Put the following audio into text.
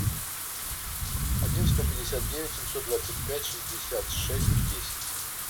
один сто пятьдесят девять семьсот двадцать пять шестьдесят шесть десять